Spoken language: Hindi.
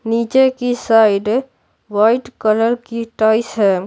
नीचे की साइड वाइट कलर की टाइस है।